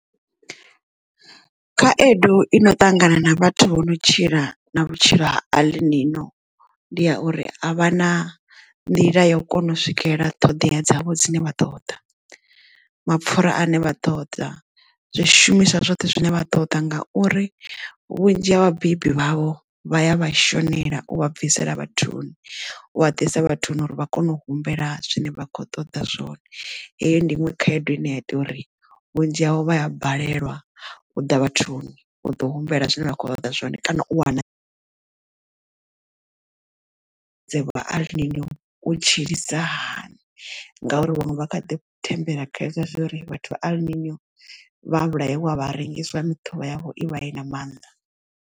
Khaedu i no ṱangana na vhathu vho no tshila na vhutshilo ha alibino ndi ya uri a vha na nḓila ya u kona u swikelela ṱhodea dzavho dzine vha ṱoḓa, mapfura ane vha ṱoḓa zwishumiswa zwoṱhe zwine vha ṱoḓa ngauri vhunzhi ha vhabebi vhavho vha ya vhashonela u vha bvisela vhathuni u wa ḓisa vhathuni uri vha kone u humbela zwine vha khou ṱoḓa zwone. Heyo ndi iṅwe khaedu ine ya ita uri vhunzhi havho vha a balelwa u ḓa vhathuni u ḓo humbela zwine vha khou ṱoḓa zwone kana u wana dzavho aralini u tshilisa hani ngauri vhaṅwe vha kha thembela kha hezwo uri vhathu vha albino vha vhulaelwa vha rengiswa muṱhula yavho i vha i na maanḓa.